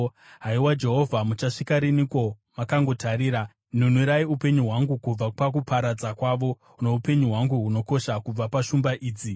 Haiwa Jehovha, muchasvika riniko makangotarira? Nunurai upenyu hwangu kubva pakuparadza kwavo, noupenyu hwangu hunokosha kubva pashumba idzi.